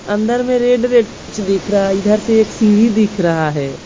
अंदर में red red कुछ दिख रहा है इधर से एक सीढ़ी दिख रहा है।